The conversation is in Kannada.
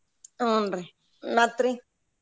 ಹೂನ್ರಿ ಮತ್ರಿ?